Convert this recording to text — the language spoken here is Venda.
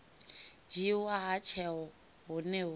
dzhiiwa ha tsheo hune hu